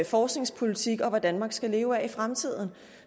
forskningspolitikken og hvad danmark skal leve af i fremtiden